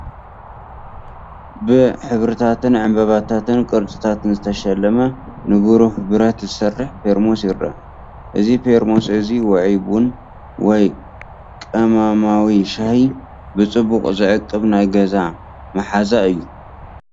ብሕብርታትን ዕምባባታትን ቅርጽታትን ዝተሸለመ ንብሩህ ብረት ዝሰርሕ ፔርሞስ ይርአ። እዚ ፔርሞስ እዚ ውዑይ ቡን ወይ ቀመማዊ ሻሂ ብጽቡቕ ዝዕቅብ ናይ ገዛ መሓዛ እዩ።